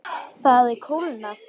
Það hafði kólnað.